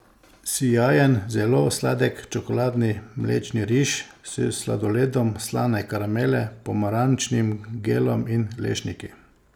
Sijajen, zelo sladek čokoladni mlečni riž s sladoledom slane karamele, pomarančnim gelom in lešniki.